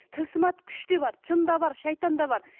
тылсым атты күш те бар жын да бар шайтан да бар